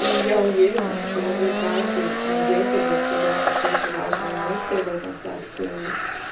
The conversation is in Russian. и я уверена что вы каждый найдёте для себя какую-то важную мысль в этом сообщении